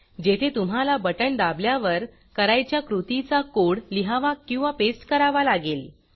जेथे तुम्हाला बटण दाबल्यावर करायच्या कृतीचा कोड लिहावा किंवा पेस्ट करावा लागेल